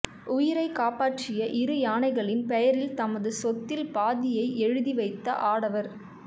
உயிரைக் காப்பாற்றிய இரு யானைகளின் பெயரில் தமது சொத்தில் பாதியை எழுதிவைத்த ஆடவர்